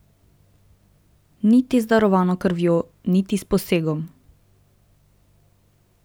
Niti z darovano krvjo, niti s posegom.